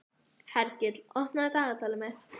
Hergill, opnaðu dagatalið mitt.